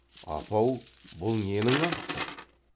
апа ау бұл ненің ақысы